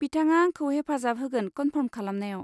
बिथाङा आंखौ हेफाजाब होगोन फार्फ'र्म खालामनायाव।